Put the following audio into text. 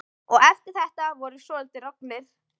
Og eftir þetta vorum við svolítið roggnir.